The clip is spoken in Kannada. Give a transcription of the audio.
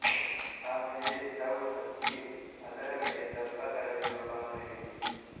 ಆಮೇಲೆ ಸ್ಟವ್ ಹಚ್ಚಿ ಅದರ ಮೇಲೆ ದಪ್ಪ ತಳ ಇರುವ ಪಾತ್ರೆ ಇಡಿ